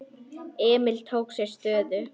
Emil tók sér stöðu.